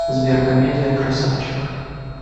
сбер комедия красавчик